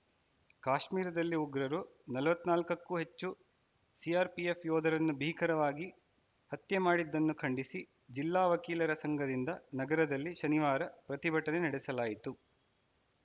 ಕಾಶ್ಮೀರದಲ್ಲಿ ಉಗ್ರರು ನಲವತ್ತ್ ನಾಲಕಕ್ಕೂ ಹೆಚ್ಚು ಸಿಆರ್‌ಪಿಎಫ್‌ ಯೋಧರರನ್ನು ಭೀಕರವಾಗಿ ಹತ್ಯೆ ಮಾಡಿದ್ದನ್ನು ಖಂಡಿಸಿ ಜಿಲ್ಲಾ ವಕೀಲರ ಸಂಘದಿಂದ ನಗರದಲ್ಲಿ ಶನಿವಾರ ಪ್ರತಿಭಟನೆ ನಡೆಸಲಾಯಿತು